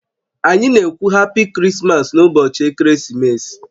Anyị na-ekwu "happy Christmas" n'ụbọchị Ekeresimesi